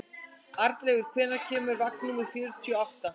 Arnleifur, hvenær kemur vagn númer fjörutíu og átta?